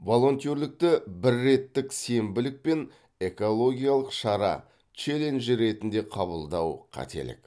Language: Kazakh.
волонтерлікті бірреттік сенбілік пен экологиялық шара челлендж ретінде қабылдау қателік